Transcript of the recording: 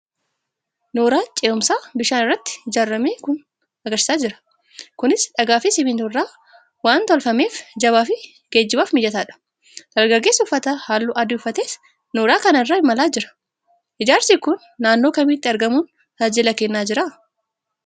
Nooraa cehumsaa bishaan irratti ijaaramee jiru agarsiisaa. Kunis dhagaafi Siminttoo irraa waan toolfameef jabaafi geejjibaafis mijataa dha. Dargaggeessi uffata haalluu adii uffates nooraa kana irra imalaa jira. Ijaarsi kun naannoo kamitti argamuun tajaajila kennaa jira ?